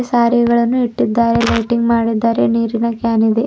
ಸ್ಯಾರಿ ಗಳನ್ನು ಇಟ್ಟಿದ್ದಾರೆ ಲೈಟಿಂಗ್ ಮಾಡಿದ್ದಾರೆ ನೀರಿನ ಕ್ಯಾನ್ ಇದೆ.